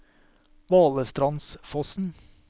Valestrandsfossen